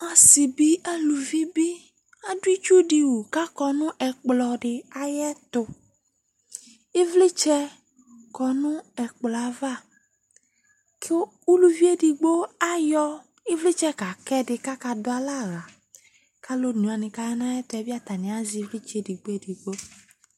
Asɩ bɩ, aluvi bɩ, adʋ itsu dɩ wu kʋ akɔ nʋ ɛkplɔ dɩ ayɛtʋ Ɩvlɩtsɛ kɔ nʋ ɛkplɔ yɛ ava kʋ uluvi edigbo ayʋ ɩvlɩtsɛ kaka ɛdɩ kʋ akadʋ alɛ aɣla kʋ alʋ one wanɩ kʋ aya nʋ ayɛtʋ yɛ bɩ atanɩ azɛ ɩvlɩtsɛ yɛ edigbo edigbo